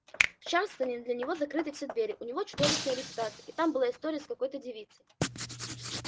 в чарльстоне для него закрыты все двери у него чудовищная репутация и там была история с какой-то девицей